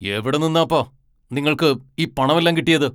എവിടെ നിന്നാപ്പാ നിങ്ങൾക്ക് ഈ പണമെല്ലാം കിട്ടിയത് ?